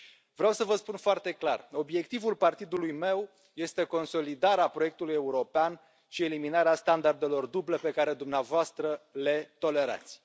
Vreau să vă spun foarte clar obiectivul partidului meu este consolidarea proiectului european și eliminarea standardelor duble pe care dumneavoastră le tolerați.